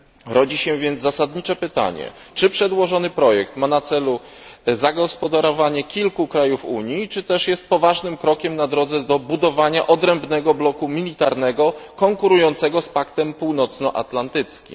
Rodzi się więc zasadnicze pytanie czy przedłożony projekt ma na celu zagospodarowanie kilku krajów Unii, czy też jest poważnym krokiem na drodze do budowania odrębnego bloku militarnego konkurującego z Paktem Północno Atlantyckim?